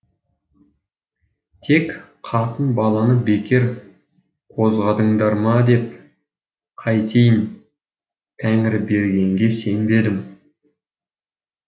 тек қатын баланы бекер қозғадыңдар ма деп қайтейін тәңірбергенге сенбедім